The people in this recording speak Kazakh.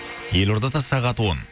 елордада сағат он